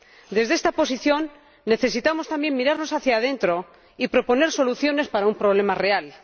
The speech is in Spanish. Desde esta posición, necesitamos también mirar hacia dentro y proponer soluciones para un problema real.